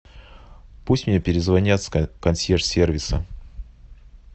пусть мне перезвонят с консьерж сервиса